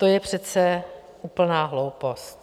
To je přece úplná hloupost.